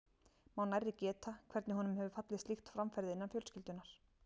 Má nærri geta, hvernig honum hefur fallið slíkt framferði innan fjölskyldunnar.